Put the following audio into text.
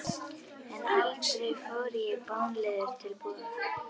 En aldrei fór ég bónleiður til búðar.